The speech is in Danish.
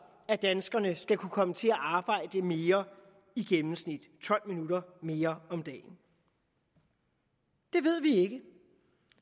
at danskerne skal kunne komme til at arbejde mere i gennemsnit tolv minutter mere om dagen det ved vi ikke